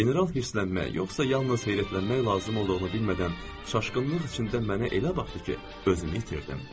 General hirslənmək yoxsa yalnız seyrəklənmək lazım olduğunu bilmədən, çaşqınlıq içində mənə elə baxdı ki, özümü itirdim.